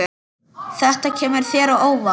Þetta kemur þér á óvart.